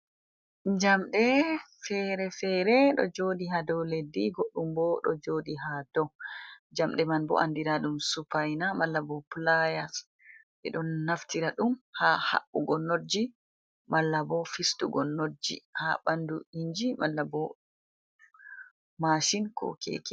Jamɗe fere-fere ɗo joɗi ha dow leddi godɗɗum bo ɗo joɗi ha dow jamɗe man bo andira ɗum supaina mala bo playas ɓe ɗo naftira ɗum ha haɓɓugo not ji mala bo fistugo not ji ha ɓandu inji mala ko machin, ko keke.